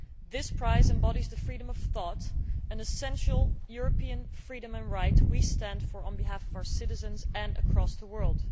This prize embodies freedom of thought, an essential European freedom and right we stand for on behalf of our citizens and across the world.